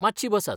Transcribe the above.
मातशी बसात .